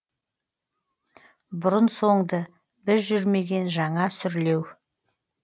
бұрын соңды біз жүрмеген жаңа сүрлеу